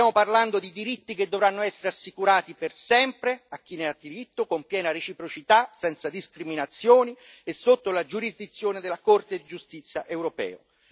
Stiamo parlando di diritti che dovranno essere assicurati per sempre a chi ne ha diritto, con piena reciprocità, senza discriminazioni e sotto la giurisdizione della Corte di giustizia europea.